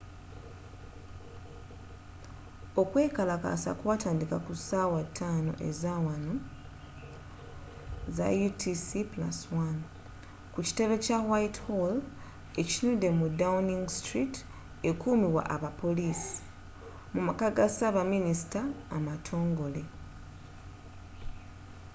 okwekalakaasa kwataandika kussaawa nga 5 ezaawanoutc+1 ku kitebe kya whitehall ekitunudde mu downing street ekuumibwa abapoliisi mumaka ga saabaminisita amatongole